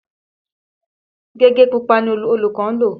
Gègé pupa ni olùkọ́ ń lò.